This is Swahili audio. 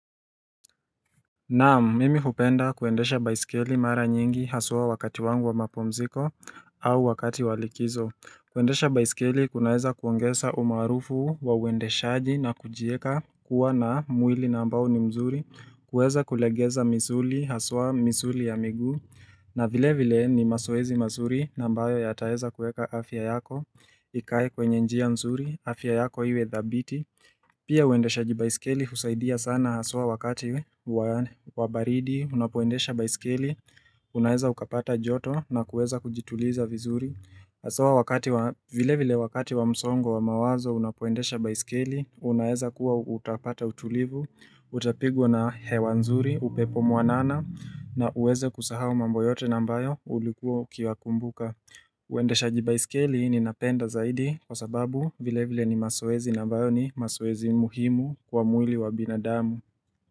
Naam mimi hupenda kuendesha baisikeli mara nyingi hasua wakati wangu wa mapumziko au wakati walikizo kuendesha baisikeli kunaeza kuongesa umaruufu wa uendeshaji na kujieka kuwa na mwili nambao ni mzuri kuweza kulegeza misuli hasua misuli ya miguu na vile vile ni mazoezi masuri nambayo yataeza kueka afya yako Ikae kwenye njia mzuri afya yako iwe dhabiti Pia uendesha jibaiskeli husaidia sana aswa wakati wabaridi, unapoendesha baiskeli, unaeza ukapata joto na kuweza kujituliza vizuri Aswa wakati, vile vile wakati wa msongo wa mawazo, unapoendesha baiskeli, unaeza kuwa utapata utulivu, utapigwa na hewanzuri, upepo muanana na uweze kusaha umamboyote nambayo ulikuwa kia kumbuka uende shaji biskeli ni napenda zaidi kwa sababu vile vile ni masoezi na vayoni masoezi muhimu kwa mwili wa binadamu.